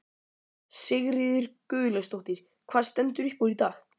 Sigríður Guðlaugsdóttir: Hvað stendur upp úr í dag?